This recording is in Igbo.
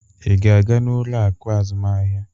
Ị ga-aga n'ụlọ akụ azụmaahịa?